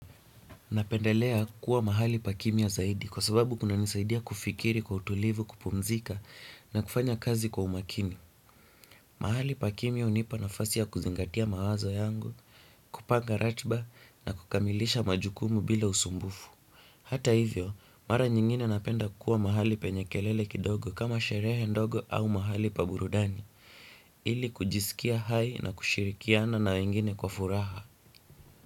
Napendelea kuwa mahali pa kimya zaidi kwa sababu kuna nisaidia kufikiri kwa utulivu kupumzika na kufanya kazi kwa umakini. Mahali pa kimya unipa nafasi ya kuzingatia mawazo yangu, kupanga ratba na kukamilisha majukumu bila usumbufu. Hata hivyo, mara nyingine napenda kuwa mahali penye kelele kidogo kama sherehe ndogo au mahali pa burudani, ili kujisikia hai na kushirikiana na wengine kwa furaha.